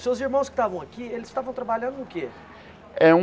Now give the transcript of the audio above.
Seus irmãos que estavam aqui, eles estavam trabalhando no quê? É um